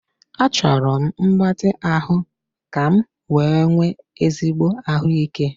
Achọrọ m mgbatị ahụ ka m wee nwee ezigbo ahụike